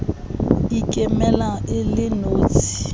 e ikemelang e le notshi